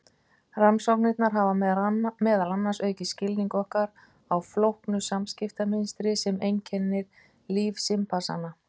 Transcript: Rannsóknirnar hafa meðal annars aukið skilning okkar á flóknu samskiptamynstri sem einkennir líf simpansanna.